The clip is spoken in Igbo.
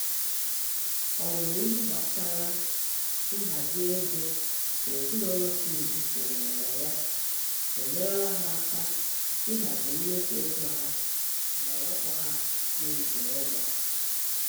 Ọmụmụ ihe gbasara nhazi ego nke ezinụlọ Smith sonyere na ya enyerela ha aka ihazi mmefu ego ha ma wepụ ha na-iji ụgwọ